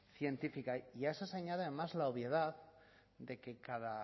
científica y a eso se añade además la obviedad de que cada